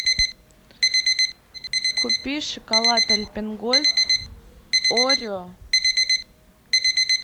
купи шоколад альпен гольд орео